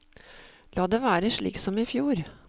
La det være slik som i fjor.